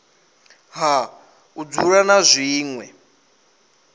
ha u dzula na zwinwe